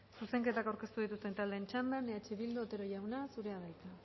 zuzenketak aurkeztu dituzten taldeen txanda eh bildu otero jauna zurea da hitza